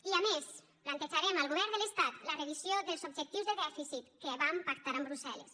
i a més plantejarem al govern de l’estat la revisió dels objectius de dèficit que van pactar amb brussel·les